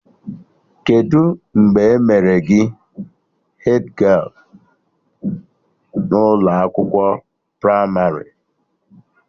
Kedụ mgbe e mere gị hedgialụ n'ụlọ akwụkwọ pramarị?